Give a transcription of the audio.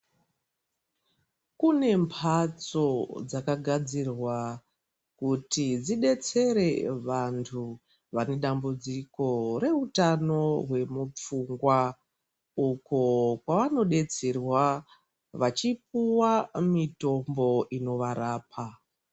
Kune phatso dzakagadzirwa kuti dzidetsere vantu vane dambudziko reutano remupfungwa uko kwavanodetserwa vachipuwa mitombo inovarapa.